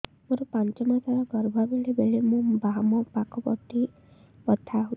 ମୋର ପାଞ୍ଚ ମାସ ର ଗର୍ଭ ବେଳେ ବେଳେ ମୋ ବାମ ପାଖ ପେଟ ବଥା ହଉଛି